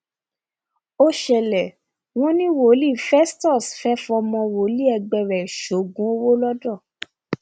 ó ṣẹlẹ wọn ní wòlíì festus fẹẹ fọmọ wòlíì ẹgbẹ ẹ sóògùn owó lọdọ